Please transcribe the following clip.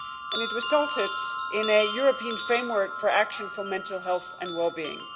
It resulted in a European Framework for Action on Mental Health and Well being.